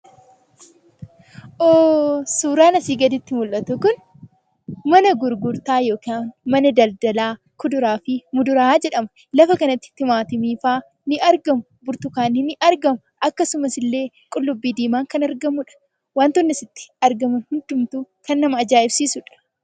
Hoo! Suuraan asii gaditti argamu kun mana gurgurtaa yookaan mana daldalaa kuduraa fi muduraa jedhama. Lafa kanatti timaatimii faa ni argamu. Burtukaanni ni argamu. Akkasumas illee qullubbii diimaan kan argamuudha. Wantoonni asitti argaman hundumtuu kan nama ajaa'ibsiisuudha.